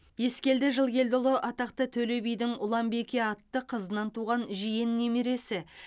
ескелді жылкелдіұлы атақты төле бидің ұланбике атты қызынан туған жиен немересі